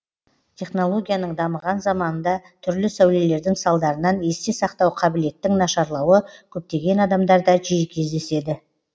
технологияның дамыған заманында түрлі сәулелердің салдарынан есте сақтау қабілеттің нашарлауы көптеген адамдарда жиі кездеседі